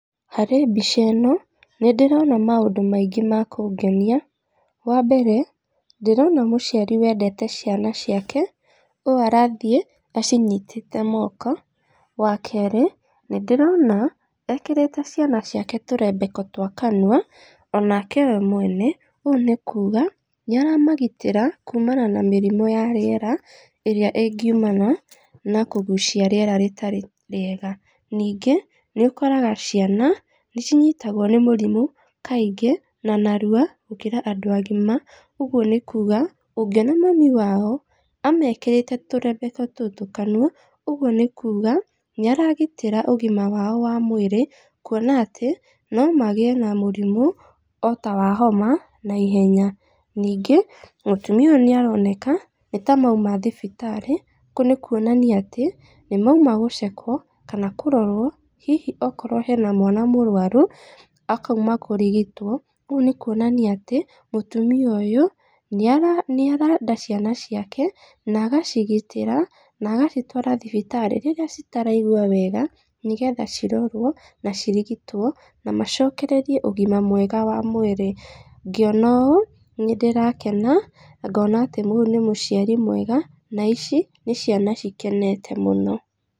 Harĩ mbica ĩno, nĩ ndĩrona maũndũ maingĩ makũngenia, wa mbere, ndĩrona mũciari wendete ciana ciake, ũũ arathiĩ acinyitĩte moko, wa kerĩ, nĩ ndĩrona ekĩrĩte ciana ciake tũrebeka twa kanua, onake we mwene, ũũ nĩ kuga nĩ aramagitĩra kuumana na mĩrimũ ya rĩera, ĩrĩa ingiumana na kũgucia rĩera rĩtarĩ rĩega, ningĩ nĩ ũkoraga ciana nĩ cinyitagwo nĩ mũrimũ kaingĩ, nonarwa gũkĩra andũ agima, ũguo nĩ kuga, ũngĩona mami wao amekĩrĩte tũrembeko tũtũ kanua, ũguo nĩ kuga nĩ aragitĩra ũgima wao wa mwĩrĩ, kuona atĩ nomagĩa na mũrimũ otawa homa naihenya, ningĩ mũtumia ũyũ nĩ aroneka nĩ tamaima thibitarĩ kũu nĩ kuonania atĩ nĩmaima gũcekowo, kana kũrorwo hihi okorwo hena mwana mũrwaru akaima kũrigitwo, kũu nĩ kuonania atĩ, mũtumia ũyũ nĩara nĩarenda ciana ciake, nagacigitĩra, nagacitwara thibitarĩ, rĩrĩa citaraigwa wega nĩgetha cirorwo, na cirigitwo, na macokererie ũgima mwega wa mwĩrĩ, ngĩona ũũ nĩ ndĩrakena, ngona atĩ ũyũ nĩ mũciari mwega, na ici nĩ ciana cikenete mũno.